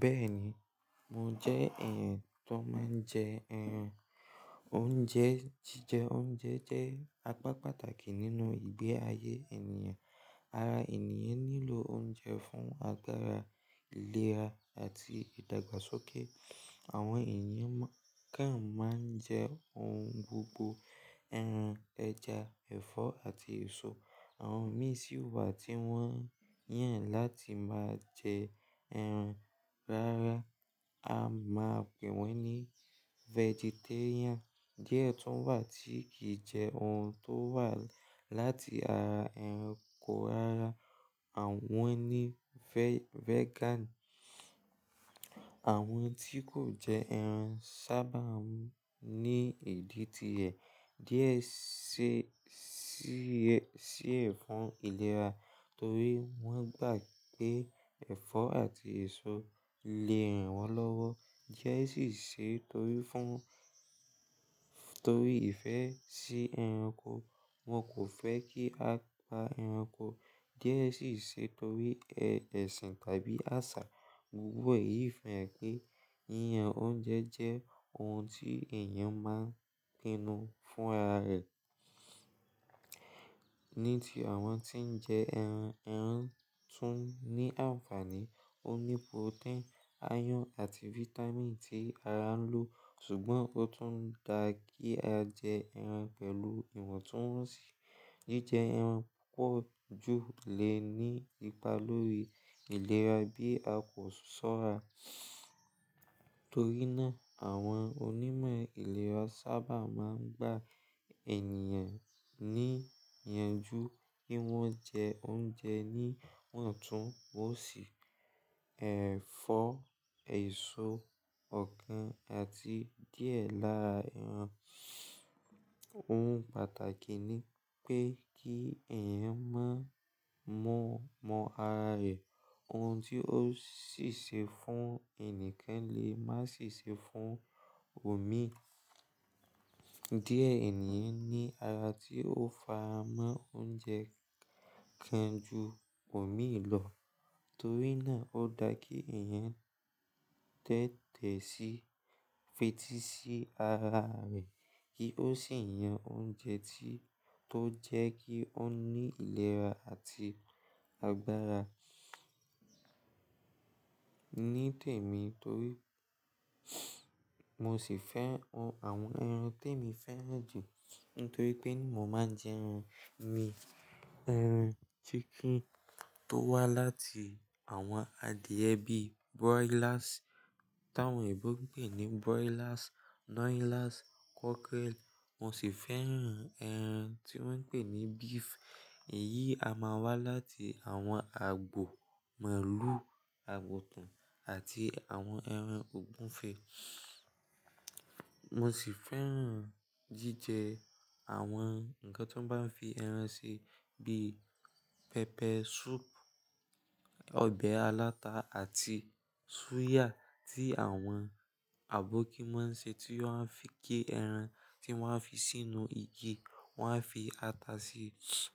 Bẹ́ẹ̀ni, mo jẹ́ èèyàn tó máa ń jẹ ẹran. Oúnjẹ jíjẹ oúnjẹ jẹ́ apá pàtàkì nínú ìgbé ayé ènìyàn. Ara ènìyàn nílò oúnjẹ fún agbara, ìlera àti ìdàgbàsókè. Àwọn èèyàn kan máa ń jẹ oun gbogbo, ẹran, ẹja, ẹ̀fọ́ àti èso. Àwọn mí sì wà tí wọ́n yàn láti máa jẹ ẹran rárá, a máa pè wọ́n ní vegetarian. Díẹ̀ tún wà tí kìí jẹ oun tó wà láti ara ẹranko rárá, àwọn ni vegan. Àwọn tí kò jẹ ẹran sábà n ní ìdí tí ẹ̀. Díẹ̀ se sí ẹ̀ si ẹ fún ìlera torí wọ́n gbà pé ẹ̀fọ́ àti èso lè ran wọ́n lọ́wọ́. Díẹ̀ sì ṣe torí fún torí ìfẹ́ sí ẹranko, wọn kò fẹ́ kí a pa ẹranko. Díẹ̀ sì ṣe torí ẹ̀sìn tàbí àṣà. Gbogbo èyí fẹ́rẹ̀ pé, yìyàn oúnjẹ jẹ́ oun tí èèyàn máa ń pinnu fún ara rẹ̀. Ní ti àwọn tí ń jẹ ẹran, ẹran tún ní àǹfààní. Ó ní protein, iron àti vitamin tí ara ń lò. Ṣùgbọ́n ó tún da kí a jẹ ẹran pẹ̀lú ìwọ̀ntúnwọ̀nsì. Jíjẹ ẹran púpọ̀ jú lè ní ipa lórí ìlera bí a kò sọ́ra. Torí náà, àwọn onímọ̀ ìlera sábà máa ń gba èèniyàn níyanjú kí wọ́n jẹ oúnjẹ níwọ̀ntúnwọ̀nsì, ẹ̀fọ́, èso, ọ̀kán àti díẹ̀ lára ẹran. Oun pàtàkì ni pé kí èèyàn máa mọ mọ ara rẹ̀. Oun tí ó sì se fún ẹni kan lè má sì se fún òmíì. Díẹ̀ ènìyàn ní ara tí ó fara mọ́ oúnjẹ kan ju òmíì lọ. Torí náà ó da kí èèyàn tẹ́tẹ́ sí, fetí sí ara rẹ̀ kí ó sì yan oúnjẹ tí to jẹ́ kí ó ní ìlera àti agbára. Ní tèmi torí mo sì fẹ́ àwọn ẹran téèmi fẹ́ràn jù nítorí pé ni mo máa ń jẹ ẹran mi. Ẹran chicken tó wá láti àwọn adìyẹ bí broilers, táwọn eebo n pé ní broilers, noilers, cockerel. Mo sì fẹ́ran ẹran tí wọ́n ń pè ní beef. Èyí a máa wá láti àwọn àgbo, màlúù, àgùntàn àti àwọn ẹran ògúnfe. Mo sì fẹ́ran jíjẹ àwọn nǹkan tó bá ń fi ẹran se bí pepper soup, ọbẹ̀ aláta àti suya tí àwọn àbókí máa ń ṣe tí wọn a fi gé ẹran tí wọn a fi sínú igi, wọn a fi ata sí i,